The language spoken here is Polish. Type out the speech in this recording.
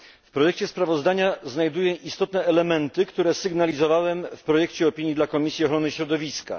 W projekcie sprawozdania znajduję istotne elementy, które sygnalizowałem w projekcie opinii dla Komisji Ochrony Środowiska.